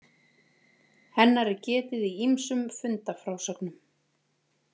Hennar er getið í ýmsum fundafrásögnum.